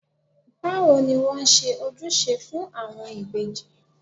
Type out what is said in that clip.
Báwo ni wón ṣe ń ojúṣe fún àwọn ìbejì?